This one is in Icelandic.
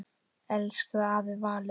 Elsku afi Valur.